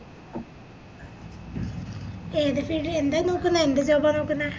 ഏതാ field എന്താ നോക്കുന്നെ എന്ത് job ആ നോക്കുന്നെ